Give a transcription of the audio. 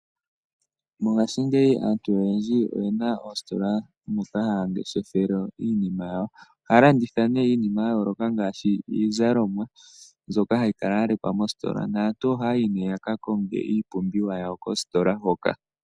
Mongashingeyi aantu oyendji oye na oositola moka haya ngeshefele iinima yawo. Ohaya landitha nduno iinima ya yooloka ngaashi iizalomwa mbyoka hayi kala ya lekwa mositola. Aantu ohaya yi nduno ya ka konge iipumbiwa yawo kositola hoka.